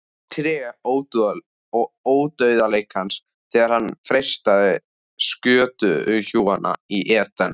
Tré Ódauðleikans þegar hann freistaði skötuhjúanna í Eden